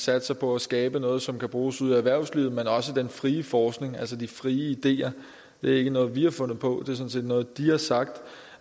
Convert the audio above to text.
satser på at skabe noget som kan bruges ude i erhvervslivet men også den frie forskning altså de frie ideer det er ikke noget vi har fundet på det sådan set noget de har sagt